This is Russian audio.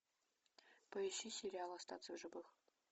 поищи сериал остаться в живых